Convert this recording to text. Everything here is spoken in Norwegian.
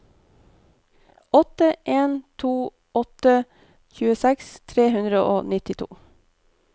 åtte en to åtte tjueseks tre hundre og nittito